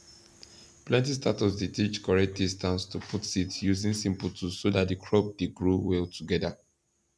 plenty startups dey teach correct distance to put seeds using simple tools so that the crop de grow well together